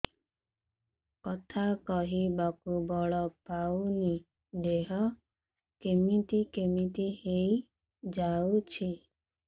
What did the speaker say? କଥା କହିବାକୁ ବଳ ପାଉନି ଦେହ କେମିତି କେମିତି ହେଇଯାଉଛି